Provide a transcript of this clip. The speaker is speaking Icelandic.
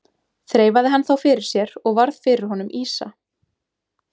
Þreifaði hann þá fyrir sér og varð fyrir honum ýsa.